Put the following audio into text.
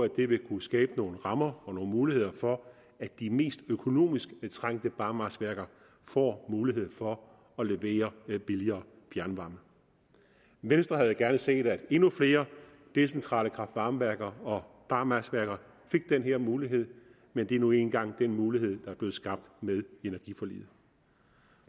det vil kunne skabe nogle rammer og nogle muligheder for at de mest økonomisk trængte barmarksværker får mulighed for at levere billigere fjernvarme venstre havde gerne set at endnu flere decentrale kraft varme værker og barmarksværker fik den her mulighed men det er nu engang den mulighed der er blevet skabt med energiforliget